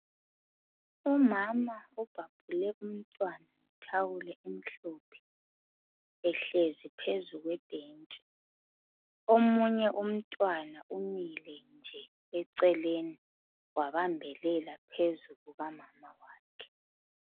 umama obhabhule umntwana ngethawulo elimhlophe ehlezi phezulu kwebhentsi omunye umntwan umile nje eceleni wababhelela phezu kuka mama wakhe